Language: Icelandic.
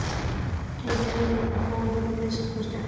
Til Berlínar fór hann að minnsta kosti ekki.